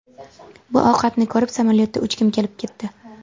Bu ovqatni ko‘rib, samolyotda uchgim kelib ketdi.